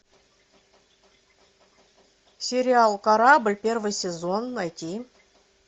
сериал корабль первый сезон найти